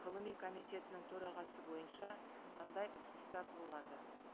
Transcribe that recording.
ғылыми комитетінің төрағасы бойынша қандай ұсыныстар болады